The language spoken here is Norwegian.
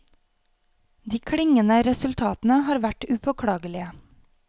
De klingende resultatene har vært upåklagelige.